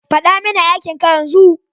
Faɗa mini aikin ka yanzu!